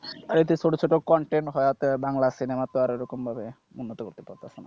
ছোট ছোট content হয়েতে বাংলা cinema তো আর ওরকম উন্নতি করতে পারছে না,